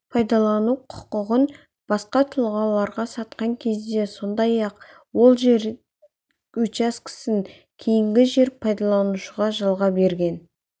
пайдалану құқығын басқа тұлғаларға сатқан кезде сондай-ақ ол жер учаскесін кейінгі жер пайдаланушыларға жалға берген